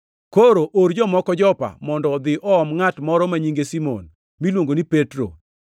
Koro or jomoko Jopa mondo odhi oom ngʼat moro ma nyinge Simon, miluongo ni Petro.